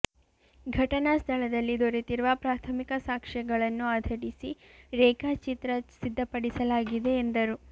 ಘಟನಾ ಸ್ಥಳದಲ್ಲಿ ದೊರೆತಿರುವ ಪ್ರಾಥಮಿಕ ಸಾಕ್ಷ್ಯಗಳನ್ನು ಆಧರಿಸಿ ರೇಖಾಚಿತ್ರ ಸಿದ್ಧಪಡಿಸಲಾಗಿದೆ ಎಂದರು